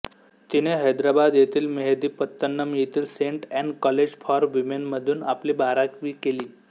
तिने हैदराबाद येथील मेहदीपत्तनम येथील सेंट एन कॉलेज फॉर विमेनमधून आपली बारावीकेली